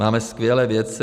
Máme skvělé vědce.